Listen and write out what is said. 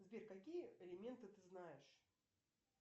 сбер какие элементы ты знаешь